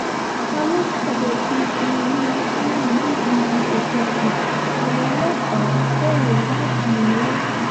ta ló fọbẹ̀ dùbú olùwátòyìn nílùú òkùkù àwọn ọlọ́pàá bẹ̀rẹ̀ ìwádìí ńlá